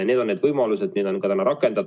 Need on need võimalused, mida me oleme rakendanud.